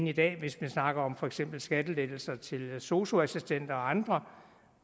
i dag hvis man snakker om for eksempel skattelettelser til sosu assistenter og andre